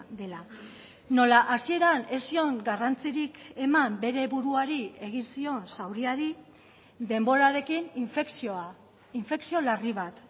dela nola hasieran ez zion garrantzirik eman bere buruari egin zion zauriari denborarekin infekzioa infekzio larri bat